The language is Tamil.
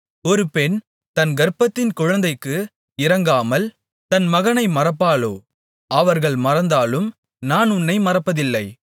ஒரு பெண் தன் கர்ப்பத்தின் குழந்தைக்கு இரங்காமல் தன் மகனை மறப்பாளோ அவர்கள் மறந்தாலும் நான் உன்னை மறப்பதில்லை